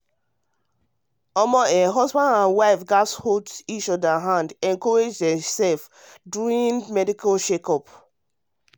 to dey pass through medical checkup need make both husband and wife hold hand together encourage theirselves shey you get